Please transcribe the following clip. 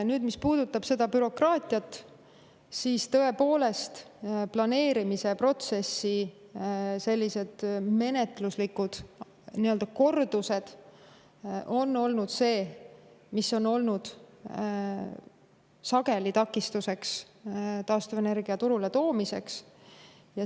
Nüüd, mis puudutab seda bürokraatiat, siis tõepoolest, planeerimise protsessi sellised menetluslikud kordused on olnud see, mis on olnud sageli taastuvenergia turule toomise takistuseks.